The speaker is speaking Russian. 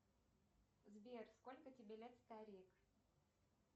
сбер сколько тебе лет старик